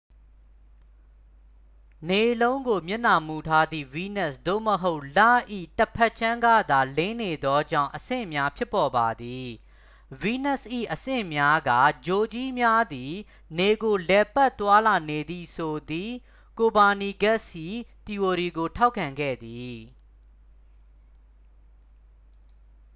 နေလုံးကို မျက်နှာမူထားသည့် ဗီးနပ်စ် သို့မဟုတ် လ၏ ၏ တစ်ဖက်ခြမ်းကသာ လင်းနေသောကြောင့် အဆင့်များ ဖြစ်ပေါ်ပါသည်။ ဗီးနပ်စ်၏ အဆင့်များက ဂြိုလ်ကြီးများသည် နေကို လှည့်ပတ် သွားလာနေသည်ဆိုသည့် ကိုပါနီကက်စ်၏ သီအိုရီကို ထောက်ခံခဲ့သည်။